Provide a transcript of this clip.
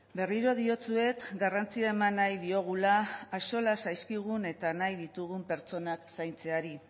berriro diotsuet garrantzia eman nahi diogula axola zaizkigun eta nahi ditugun pertsonak zaintzeari